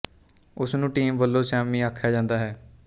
ਉਸ ਨੂੰ ਟੀਮ ਵਲੋਂ ਸਿਆਮੀ ਆਖਿਆ ਜਾਂਦਾ ਹੈ